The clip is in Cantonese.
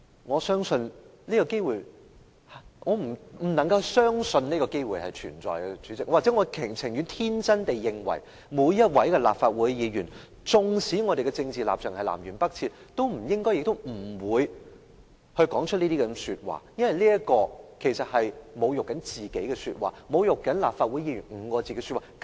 我不能相信有這個機會存在，又或許我寧願天真地認為每一位立法會議員，縱使政治立場南轅北轍，也不應亦不會說出這些說話，因為這其實是侮辱自己的說話，侮辱"立法會議員"這5個字的說話。